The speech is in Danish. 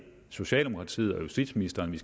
socialdemokratiets og justitsministerens